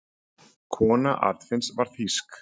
Kona Arnfinns var þýsk.